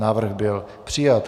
Návrh byl přijat.